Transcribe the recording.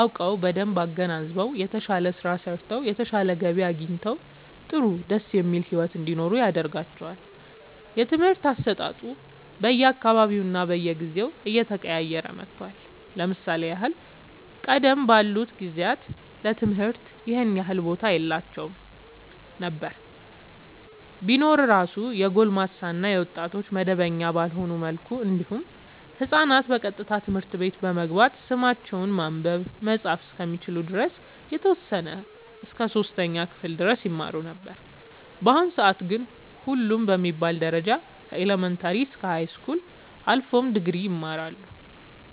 አውቀው በደንብ አገናዝበው የተሻለ ስራ ሰርተው የተሻለ ገቢ አግኝተው ጥሩ ደስ የሚል ሒወት እንዲኖሩ ያደርጋቸዋል። የትምህርት አሰጣጡ በየ አካባቢውና በየጊዜው እየተቀያየረ መጥቷል ለምሳሌ ያህል ቀደም ባሉት ጊዜያት ለትምህርት ይኸን ያህል ቦታ የላቸውም ነበር ቢኖር እራሱ የጎልማሳ እና የወጣቶች መደበኛ ባልሆነ መልኩ እንዲሁም ህፃናት ቀጥታ ትምህርት ቤት በመግባት ስማቸውን ማንበብ መፃፍ እስከሚችሉ ድረስ የተወሰነ እስከ 3ኛ ክፍል ድረስ ይማሩ ነበር በአሁኑ ሰአት ግን ሁሉም በሚባል ደረጃ ከኢለመንታሪ እስከ ሀይስኩል አልፎም ድግሪ ይማራሉ